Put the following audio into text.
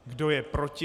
Kdo je proti?